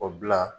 O bila